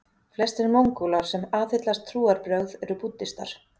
Flestir Mongólar sem aðhyllast trúarbrögð eru búddistar.